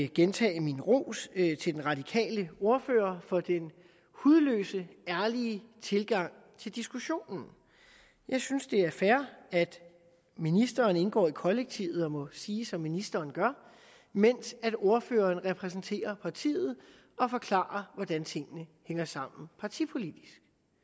gentage min ros til den radikale ordfører for den hudløst ærlige tilgang til diskussionen jeg synes det er fair at ministeren indgår i kollektivet det må siges at ministeren gør mens ordføreren repræsenterer partiet og forklarer hvordan tingene hænger sammen partipolitisk